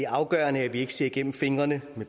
afgørende at vi ikke ser igennem fingre med